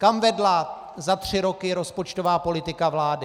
Kam vedla za tři roky rozpočtová politika vlády?